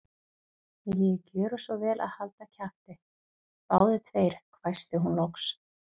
Viljiði gjöra svo vel að halda kjafti, báðir tveir hvæsti hún loks.